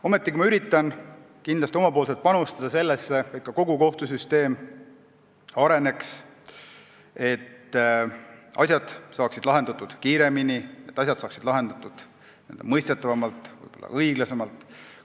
Ometi üritan kindlasti ise panustada sellesse, et kogu kohtusüsteem areneks, et asjad saaksid lahendatud kiiremini, n-ö mõistetavamalt ja õiglasemalt.